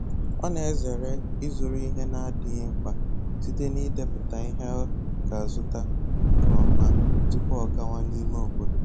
Ọ na-ezere ịzụrụ ihe na-adịghị mkpa site n'ịdepụta ihe ọ ga-azụta nke ọma tupu ọ gawa n'ime obodo